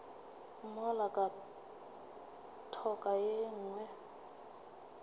mola ka thoko ye nngwe